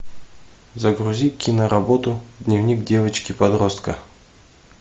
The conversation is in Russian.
загрузи киноработу дневник девочки подростка